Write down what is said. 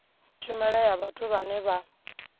tshumelo ya vhathu vhane vha